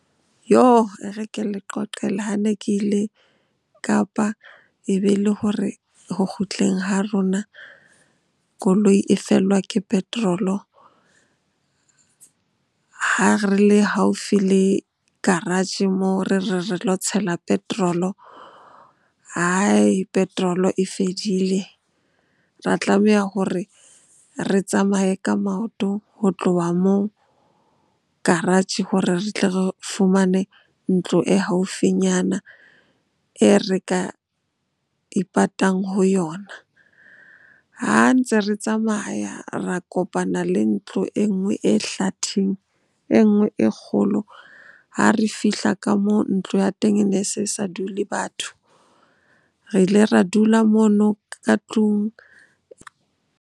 E re ke le qoqele ha ne ke ile Kapa e be le hore ho kgutleng ha rona koloi e fellwa ke petrol-o ha re le haufi le garage-eng moo re re, re lo tshela petrol-o. Petrol-o e fedile, ra tlameha hore re tsamaye ka maoto ho tloha moo garage hore re tle re fumane ntlo e haufinyana e re ka ipatang ho yona. Ha ntse re tsamaya, ra kopana le ntlo enngwe e hlatheng, enngwe e kgolo. Ha re fihla ka moo, ntlo ya teng e ne se sa dule batho. Re ile ra dula mono ka tlung.